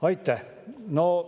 Aitäh!